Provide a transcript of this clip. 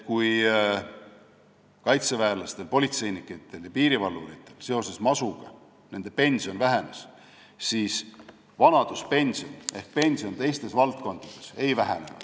Kui kaitseväelastel, politseinikel ja piirivalvuritel seoses masuga pension vähenes, siis vanaduspension ehk pension teistes valdkondades masu tõttu ei vähenenud.